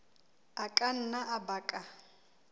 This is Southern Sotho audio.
a ka nna a baka